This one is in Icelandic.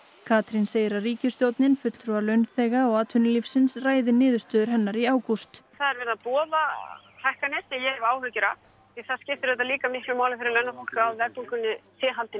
Katrín segir að ríkisstjórnin fulltrúar launþega og atvinnulífsins ræði niðurstöðu hennar í ágúst það er verið að boða hækkanir sem ég hef áhyggjur af því það skiptir auðvitað líka máli fyrir launafólk að verðbólgunni sé haldið